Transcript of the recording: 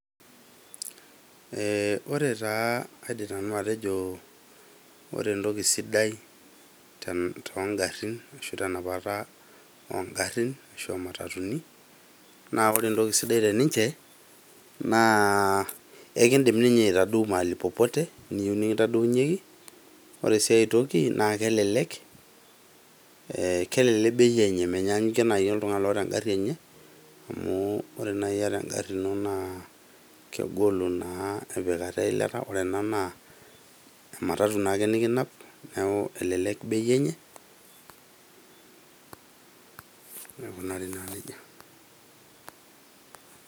Eeh ore taa aidim nanu atejo ore entoki sidai ten tongarrin ashu tenapata ongarrin ashu omatatuni naa ore entoki sidai teninche naa ekindim ninye aitadou mahali popote niyieu nikintadounyieki ore sii ae toki naa kelelek ee kelelek bei enye menyanyikie naaji oltung'ani loota engarri enye amu ore naaji iyata engarri ino naa kegolu naa empikata eilata ore ena naa ematatu naake nikinap niaku elelek bei enye aikunari naa nejia.